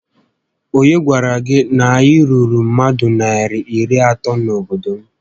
Onye gwara gị na anyị ruru mmadụ narị iri atọ na-obodo m?